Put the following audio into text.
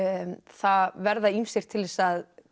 það verða ýmsir til þess að